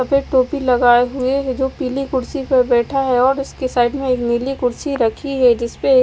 यहां पे टोपी लगाए हुए ये जो पीली कुर्सी पे बैठा है और उसकी साइड में एक नीली कुर्सी रखी है जिस पे --